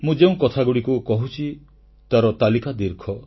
ମୁଁ ଯେଉଁ କଥାଗୁଡ଼ିକୁ କହୁଛି ତାର ତାଲିକା ଦୀର୍ଘ